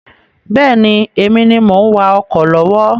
Bẹ́ẹ̀ni, Èmi ni mo ń wá ọkọ̀ lọ́wọ́